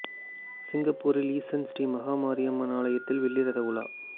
சிங்கப்பூரில் ஈஷுன் ஸ்ரீ மகா மாரியம்மன் ஆலயத்தில் வெள்ளி ரத உலா